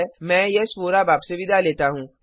मैं यश वोरा अब आपसे विदा लेता हूूँ